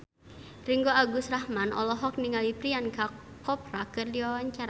Ringgo Agus Rahman olohok ningali Priyanka Chopra keur diwawancara